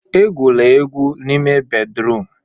Egwula egwu n'ime bédrụum!